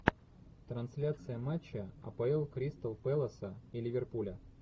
трансляция матча апл кристал пэласа и ливерпуля